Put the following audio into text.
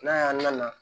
N'a y'an nana